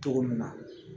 Cogo min na